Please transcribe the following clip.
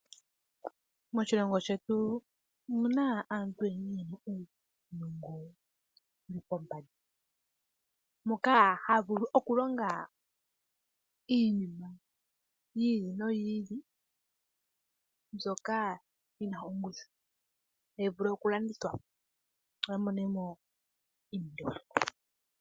Moshilongo shetu omu na aantu ye na uunongo wu li pombanda, moka ha vulu okulonga iinima yi ili noyi ili mbyoka yi na ongushu hayi vulu okulandithwa, opo a mone mo iimaliwa.